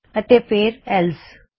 ਅਤੇ ਫੇਰ ELSE